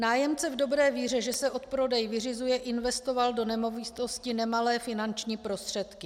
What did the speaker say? Nájemce v dobré víře, že se odprodej vyřizuje, investoval do nemovitosti nemalé finanční prostředky.